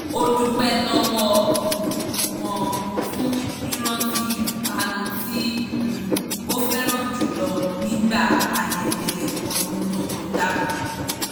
ó dúpẹ́ lọ́wọ́ um wọn fún rírántí ìpanu tí um ó fẹ́ràn jùlọ nígbà ayẹyẹ ọdún tó kọjá